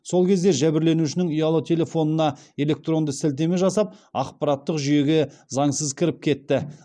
сол кезде жәбірленушінің ұялы телефонына электронды сілтеме жасап ақпараттық жүйеге заңсыз кіріп кетті